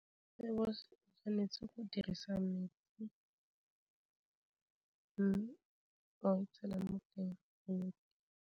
Rooibos-o o tshwanetse go dirisa metsi, mme ba go tshela mo teng .